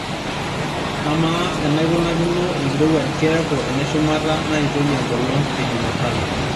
amaa enaikunakino enkirowuaj keeku eneshumata naitoi enkolong ejumatano